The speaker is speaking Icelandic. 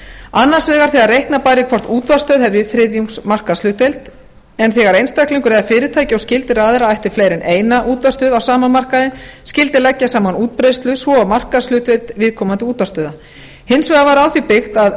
annars vegar þegar reikna bæri hvort útvarpsstöð hefði þriðjungs markaðshlutdeild en þegar einstaklingur eða fyrirtæki og skyldir aðilar ættu fleiri en eina útvarpsstöð á sama markaði skyldi leggja saman útbreiðslu svo og markaðshlutdeild viðkomandi útvarpsstöðva hins vegar var á því byggt að